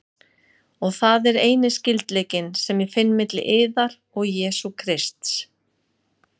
Og það er eini skyldleikinn, sem ég finn milli yðar og Jesú Krists.